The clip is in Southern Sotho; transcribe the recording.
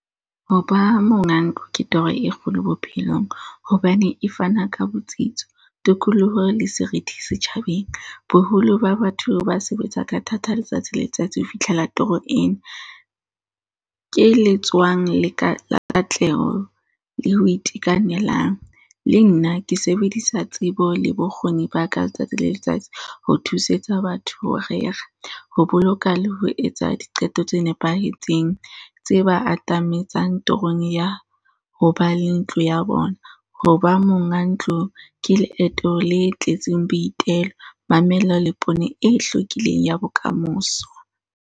Ho ba monga ntlo ke toro e kgolo bophelong, hobane e fana ka botsitso, tokoloho, le serithi setjhabeng. Boholo ba batho ba sebetsa ka thata letsatsi le letsatsi ho fihlela toro ena. Ke letswang le, la katleho le ho itekanelang. Le nna ke sebedisa tsebo le bokgoni ba ka letsatsi le letsatsi, ho thusetsa batho ho rera, ho boloka, le ho etsa diqeto tse nepahetseng. Tse ba atametsang torong ya ho ba le ntlo ya bona, ho ba monga ntlo ke leeto le tletseng boitelo, mamello le pone e hlwekileng ya bokamoso.